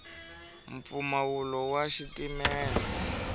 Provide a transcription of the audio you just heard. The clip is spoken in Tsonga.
mpfumawulo wa xitimela